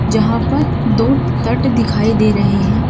जहां पर दो तट दिखाई दे रहे हैं।